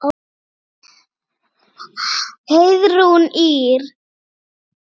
Heiðrún Ýr.